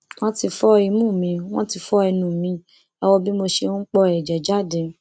wọn ti fọ imú mi wọn fọ ẹnu mi ẹ wò bí mo ṣe ń po ẹjẹ jáde